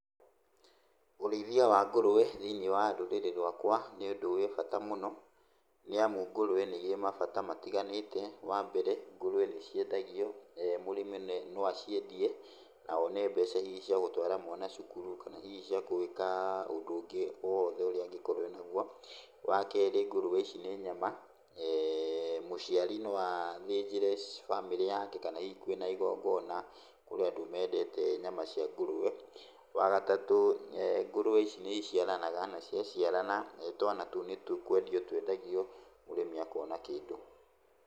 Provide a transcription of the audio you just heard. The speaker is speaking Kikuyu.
Ũrĩithia wa ngũrũe thĩinĩ wa rũrĩrĩ rwakwa nĩbũndũ wĩ bata mũno. Nĩamu ngũrũe nĩirĩ mabata matiganĩte, wambere ngũrũe nĩciendagio, mũrĩmi no aciendie na one mbeca hihi ciagũtwara mwanacukuru, kana hihi cia gwĩka ũndũ ũngĩ o wothe ũrĩa angĩkorwo enaguo. Wakerĩ ngũrũe ici nĩ nyama, mũciari no athĩnjĩre bamĩrĩ yake kana hihi kwĩna igongona kũrĩ andũ mendete nyama cia ngũrue. Wagatatũ ngũrũe ici nĩiciaranaga na ciaciarana twana tũu nĩkwendio twendagio mũrĩmi akona kĩndũ.